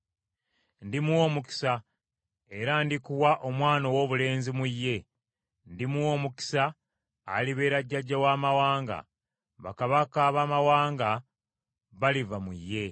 Ndimuwa omukisa, era ndikuwa omwana owoobulenzi mu ye. Ndimuwa omukisa, alibeera jjajja w’amawanga, bakabaka baamawanga baliva mu ye.”